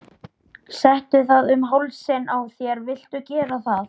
Settu það um hálsinn á þér viltu gera það?